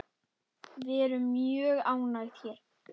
Við erum mjög ánægð hér.